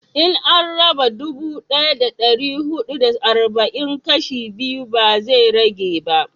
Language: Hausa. in an raba dubu daya da dari hudu da arba'in kashi biyu ba zai rage ba